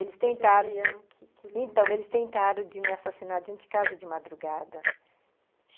Eles tentaram... Então, eles tentaram de me assassinar dentro de casa, de madrugada.